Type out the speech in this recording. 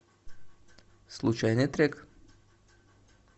случайный трек